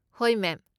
ꯍꯣꯏ, ꯃꯦꯝ ꯫